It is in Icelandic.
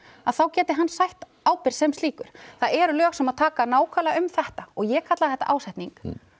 að þá geti hann sætt ábyrgð sem slíkur það eru lög sem taka nákvæmlega um þetta ég kalla þetta ásetning